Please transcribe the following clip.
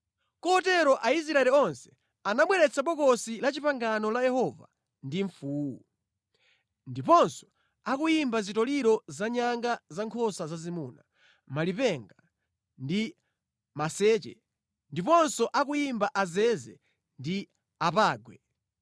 Kotero Aisraeli onse anabweretsa Bokosi la Chipangano la Yehova ndi mfuwu, ndiponso akuyimba zitoliro zanyanga zankhosa zazimuna, malipenga ndi maseche ndiponso akuyimba azeze ndi apangwe.